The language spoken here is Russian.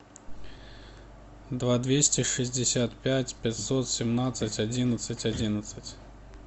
два двести шестьдесят пять пятьсот семнадцать одиннадцать одиннадцать